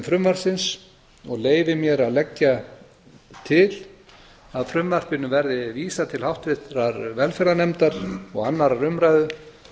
frumvarpsins og leyfi mér að leggja til að því verði vísað til háttvirtrar velferðarnefndar og annarrar umræðu